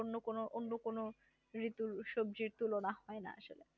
অন্য কোন অন্য কোন ঋতুর সবজির তুলনা হয় না।